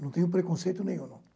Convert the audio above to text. Não tenho preconceito nenhum, não.